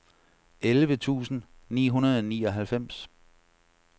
elleve tusind ni hundrede og nioghalvfems